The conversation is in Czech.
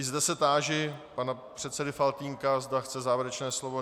I zde se táži pana předsedy Faltýnka, zda chce závěrečné slovo.